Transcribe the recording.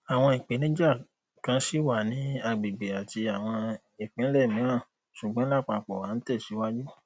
awọn ipenija kan ṣi wa ni agbegbe ati awọn ipinlẹ miiran ṣugbọn lapapọ a n tẹsiwaju